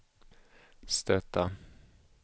stöta